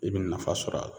I bɛ nafa sɔr'a la